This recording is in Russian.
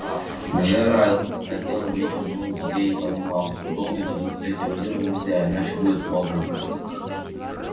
джералд хотел иметь жену и детей и понимал что долго тянуть с этим делом нельзя иначе будет поздно